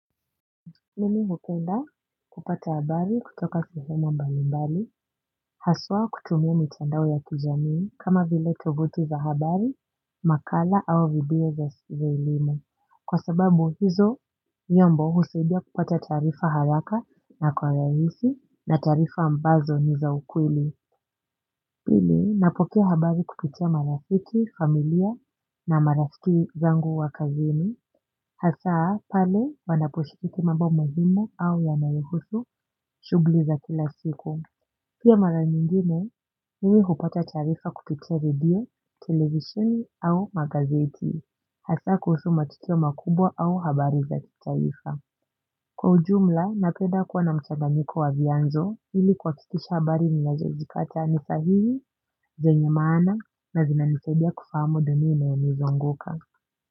Mimi hupenda kupata habari kutoka sehemu mbalimbali, haswa kutumia mitandao ya kijamii kama vile tovuti za habari, makala au video za elimu. Kwa sababu hizo nyombo husaidia kupata taarifa haraka na kwa rahisi na taarifa ambazo ni za ukweli. Pili, napokea habari kupitia marafiki, familia na marafiki zangu wa kazini, hasaa pale wanaposhiriki mambo muhimu au yanayohusu shughuli za kila siku. Pia mara nyingine, mimi hupata taarifa kupitia video, televisheni au magazeti, hasaa kuhusu matukio makubwa au habari za kitaifa. Kwa ujumla, napenda kuwa na mchanganyiko wa vyanzo ili kuhakikisha habari ninazozipata ni sahihi, zenye maana na zinanisaidia kufahamu dunia inayonizunguka.